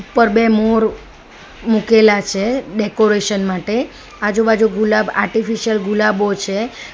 ઉપર બે મોર મુકેલા છે ડેકોરેશન માટે આજુબાજુ ગુલાબ આર્ટિફિશિયલ ગુલાબો છે.